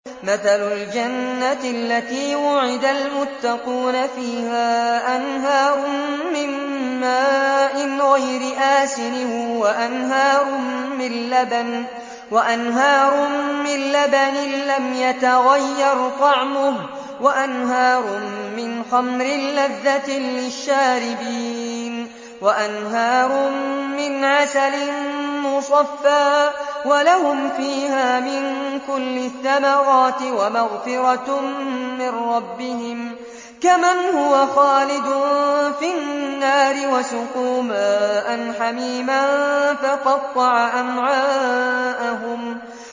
مَّثَلُ الْجَنَّةِ الَّتِي وُعِدَ الْمُتَّقُونَ ۖ فِيهَا أَنْهَارٌ مِّن مَّاءٍ غَيْرِ آسِنٍ وَأَنْهَارٌ مِّن لَّبَنٍ لَّمْ يَتَغَيَّرْ طَعْمُهُ وَأَنْهَارٌ مِّنْ خَمْرٍ لَّذَّةٍ لِّلشَّارِبِينَ وَأَنْهَارٌ مِّنْ عَسَلٍ مُّصَفًّى ۖ وَلَهُمْ فِيهَا مِن كُلِّ الثَّمَرَاتِ وَمَغْفِرَةٌ مِّن رَّبِّهِمْ ۖ كَمَنْ هُوَ خَالِدٌ فِي النَّارِ وَسُقُوا مَاءً حَمِيمًا فَقَطَّعَ أَمْعَاءَهُمْ